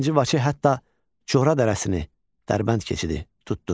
II Vaçe hətta Cohra dərəsini, Dərbənd keçidi tutdu.